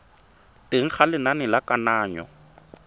teng ga lenane la kananyo